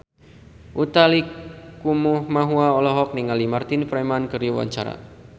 Utha Likumahua olohok ningali Martin Freeman keur diwawancara